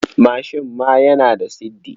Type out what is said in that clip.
Mashin ma yana da siddi.